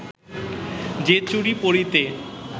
যে চুড়ি পরিতে